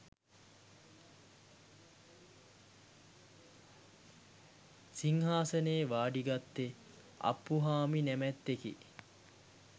සිංහාසනයේ වාඩිගත්තේ අප්පුහාමි නැමැත්තෙකි.